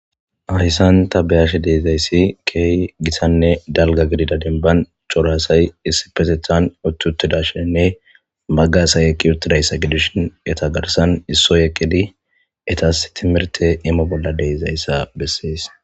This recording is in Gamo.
ayssan ta beyashe deezayssi key gisanne dalga gidida dinban corasay issi petethan uttutidashenne maggasay eki uttidayssa gidishin eta garsan issoy eqidi etas timirte imo bolla deezayssa bessees